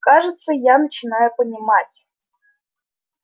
кажется я начинаю понимать